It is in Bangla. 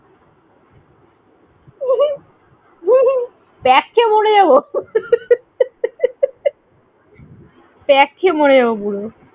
প্যাক খেয়ে মরে যাবো। যা খিল্লি হবেনা? প্যাক খেয়ে মরে যাবো পুরো।